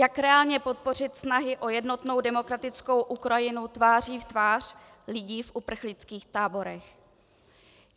Jak reálně podpořit snahy o jednotnou demokratickou Ukrajinu tváří v tvář lidí v uprchlických táborech?